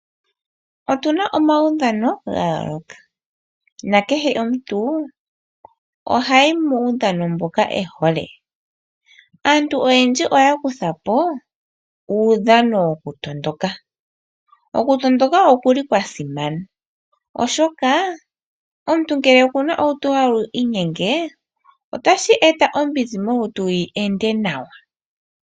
Otu na omaudhano ga yooloka na kehe omuntu ohayi muudhano mboka e hole. Aantu oyendji oya kutha po uudhano wo ku tondoka. Okutondoka oku li kwa simana oshoka omuntu ngele okuna olutu lutu halu inyenge otashi eta ombizi molutu yi ende nawa.